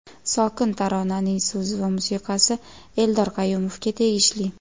Sokin taronaning so‘zi va musiqasi Eldor Qayumovga tegishli.